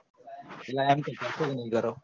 પેલા એમ કે તો તોને